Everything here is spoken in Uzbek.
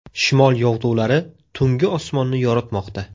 Shimol yog‘dulari tunggi osmonni yoritmoqda.